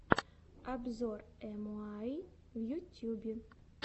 обзор эмуайи в ютьюбе